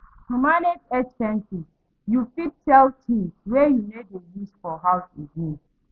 To manage expenses, you fit sell things wey you no dey use for house again